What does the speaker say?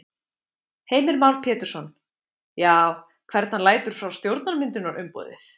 Heimir Már Pétursson: Já, hvern hann lætur frá stjórnarmyndunarumboðið?